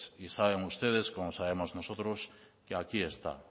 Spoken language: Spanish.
y saben ustedes como sabemos nosotros que aquí está